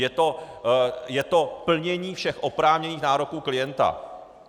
Je to plnění všech oprávněných nároků klienta.